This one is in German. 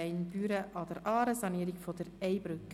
«Gemeinde Büren an der Aare: Sanierung der Ey-Brücke».